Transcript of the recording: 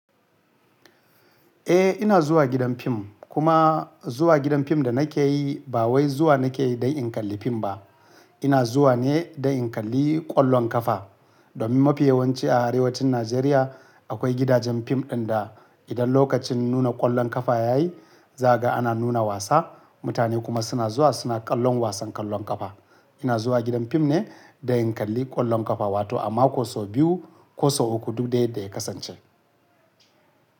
Eh ina zuwa gidan fim kuma zuwa gidan fim da nake yi ba wai zuwa nake yi don in kalli fim ba. Ina zuwa ne don in kalli ƙwallon ƙafa. Domin mafi yawanci a arewacin Najeriya akwai gidajen fim inda idan lokacin nuna ƙwallon ƙafa ya yi, zaga ana nuna wasa. Mutane kuma suna zuwa suna ƙallon wasan ƙwallon ƙafa. Ina zuwa gidan fim ne don in kalli ƙwallon ƙafa wato a mako so biyu ko so uku duk da yadda ya kasance.